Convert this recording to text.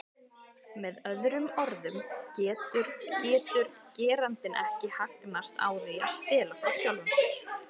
Með öðrum orðum getur getur gerandinn ekki hagnast á því að stela frá sjálfum sér.